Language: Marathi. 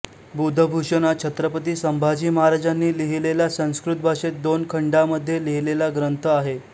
बुधभुषण हा छत्रपती संभाजी महाराजांनी लिहिलेला संस्कृत भाषेत दोन खंडा मध्ये लिहीलेला ग्रंथ आहे